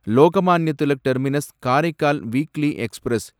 Lokmanya Tilak terminus Karaikal weekly express